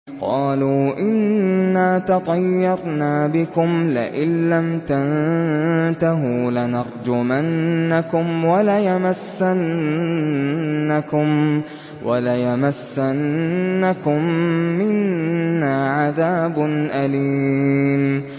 قَالُوا إِنَّا تَطَيَّرْنَا بِكُمْ ۖ لَئِن لَّمْ تَنتَهُوا لَنَرْجُمَنَّكُمْ وَلَيَمَسَّنَّكُم مِّنَّا عَذَابٌ أَلِيمٌ